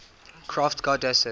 crafts goddesses